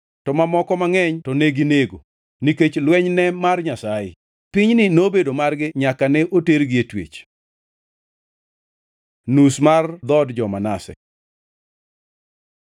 to mamoko mangʼeny to neginego, nikech lweny ne mar Nyasaye. Pinyni nobedo margi nyaka ne otergi e twech. Nus mar dhood jo-Manase